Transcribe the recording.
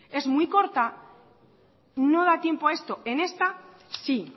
es muy corta no da tiempo a esto en esta sí